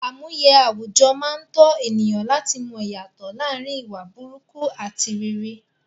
Àmúye àwùjọ máa n tọ̀ ènìyàn láti mọ ìyàtọ̀ láàrin ìwà burúkú ati rere